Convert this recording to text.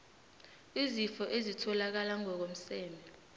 izifo ezitholakala ngokomseme